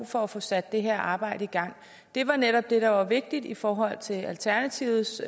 for at få sat det her arbejde i gang det var netop det der var vigtigt i forhold til alternativets